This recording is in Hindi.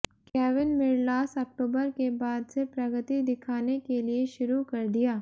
केविन मिरलास अक्टूबर के बाद से प्रगति दिखाने के लिए शुरू कर दिया